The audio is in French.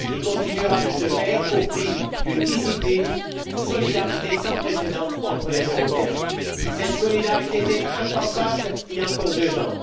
Il continuera de se faire au prix d'une discipline, d'une solidarité sans précédent entre les Européens. Cette solidarité était impensable il y a encore deux ans.